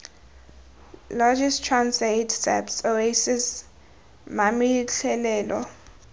logis transaid saps oasis mametlelelo